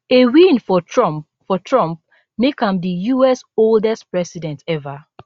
a win for trump for trump make am di us oldest president ever